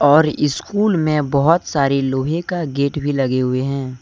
और स्कूल में बहोत सारे लोहे का गेट भी लगे हुए है।